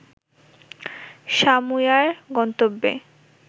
সামুয়ার গন্তেব্যে